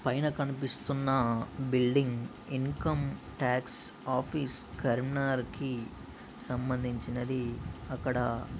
పైన కనిపిస్తున్న building income tax office Karimnagar కి సంబంధించినది అక్కడ --